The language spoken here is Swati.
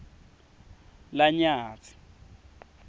lanyatsi